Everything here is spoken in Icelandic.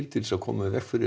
til að koma í veg fyrir